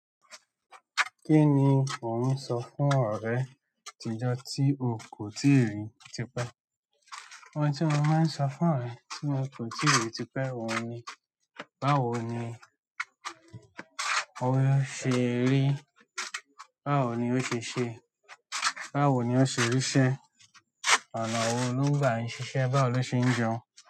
Kí ni ò ń sọ fún ọ̀rẹ́ atìjọ́ tí o kò tíì rí tipẹ́? Ohun tí mo máa ń sọ fún ọ̀rẹ́ tí mo kò tíì rí tipẹ́ òun ni, báwo ni ó ṣe rí? Báwo ni o se se. Báwo ni ó ṣe rí ṣẹ? Oná wo ló gbà ń ṣiṣẹ́? Báwo ló ṣe ń jẹun?